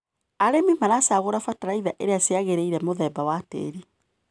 Arĩmi maracagũra bataraitha iria ciagĩrĩire mũthemba wa tĩri.